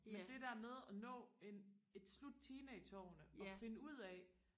men det der med at nå en et slut teenageårene og finde ud af